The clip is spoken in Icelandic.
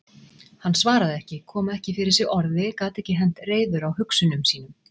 Hann svaraði ekki, kom ekki fyrir sig orði, gat ekki hent reiður á hugsunum sínum.